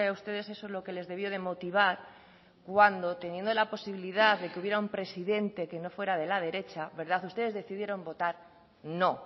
ustedes eso lo que les debió de motivar cuando teniendo la posibilidad de que hubiera un presidente que no fuera de la derecha ustedes decidieron votar no